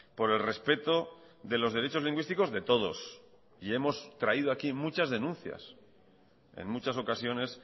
por el respeto de los derechos lingüísticos de todos y hemos traído aquí muchas denuncias en muchas ocasiones